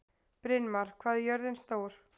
Brynmar, hvað er jörðin stór?